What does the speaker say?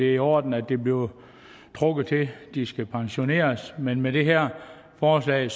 i orden at det bliver trukket til at de skal pensioneres men med det her forslag